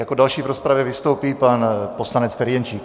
Jako další v rozpravě vystoupí pan poslanec Ferjenčík.